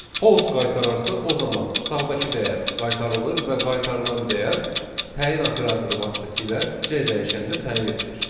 False qaytararsa, o zaman sağdakı dəyər qaytarılır və qaytarılan dəyər təyin operatoru vasitəsilə C dəyişəninə təyin edilir.